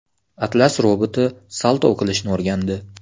Atlas roboti salto qilishni o‘rgandi .